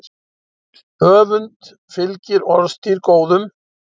Öfund fylgir orðstír góðum.